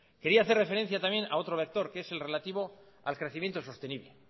quería hacer referencia también a otro lector que es el relativo al crecimiento sostenible